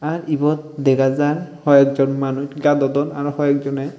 ebot degajar ho ekjon manus gadodon aro ho ekjono.